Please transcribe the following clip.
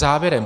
Závěrem.